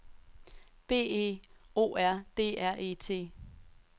B E O R D R E T